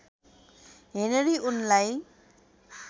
Henry उनलाई